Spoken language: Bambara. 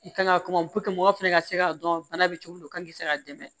I kan ka kuma mɔgɔ fana ka se k'a dɔn bana bɛ cogo min na o kan ka se ka dɛmɛ